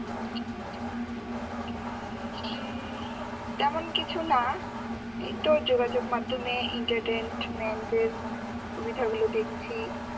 হম তেমন কিছু না এইতো যোগাযোগ মাধ্যমে entertainment এর সুবিধা গুলো দেখছি